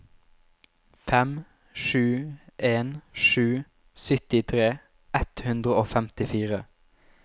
fem sju en sju syttitre ett hundre og femtifire